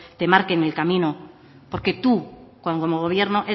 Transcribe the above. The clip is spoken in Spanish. te marquen el camino porque tú como gobierno